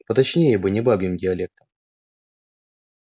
поточнее бы не бабьим диалектом